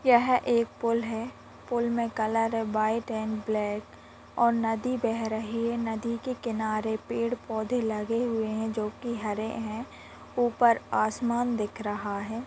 यह एक पुल है। पुल मे कलर है व्हाइट एण्ड ब्लैक । और नदी बह रही है नदी के किनारे पेड़-पौधे लगे हुए हैं जो की हरे हैं ऊपर आसमान दिख रहा है।